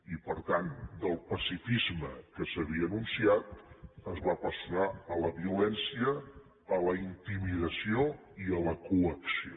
i per tant del pacifisme que s’havia anunciat es va passar a la violència a la intimidació i a la coacció